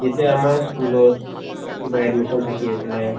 যেতিয়া আমাৰ school ত কিবা admission থাকি আছিলে